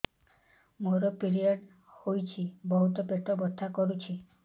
ମୋର ପିରିଅଡ଼ ହୋଇଛି ବହୁତ ପେଟ ବଥା କରୁଛି